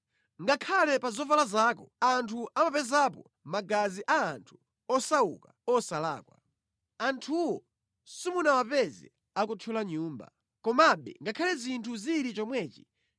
Ngakhale pa zovala zako anthu amapezapo magazi a anthu osauka osalakwa. Anthuwo simunawapeze akuthyola nyumba. Komabe ngakhale zinthu zili chomwechi,